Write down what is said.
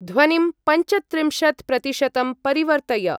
ध्वनिं पञ्चत्रिंशत्-प्रतिशतं परिवर्तय।